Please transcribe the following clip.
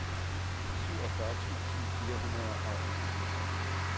syvogfyrre tusind fire hundrede og enoghalvtreds